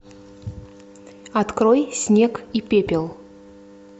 открой снег и пепел